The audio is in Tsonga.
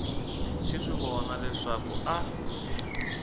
xi swi vona leswaku a